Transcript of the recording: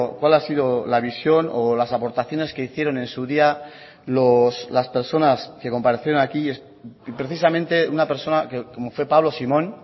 cuál ha sido la visión o las aportaciones que hicieron en su día las personas que comparecieron aquí precisamente una persona como fue pablo simón